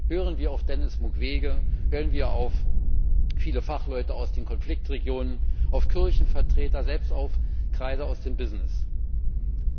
Hören wir auf Denis Mukwege, hören wir auf viele Fachleute aus den Konfliktregionen, auf Kirchenvertreter, selbst auf Kreise aus der Wirtschaft!